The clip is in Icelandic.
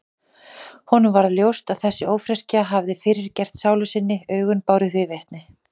Honum varð ljóst að þessi ófreskja hafði fyrirgert sálu sinni, augun báru því vitni.